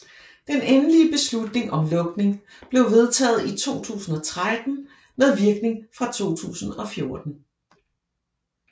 Den endelige beslutning om lukning blev vedtaget i 2013 med virkning fra 2014